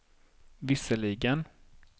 visserligen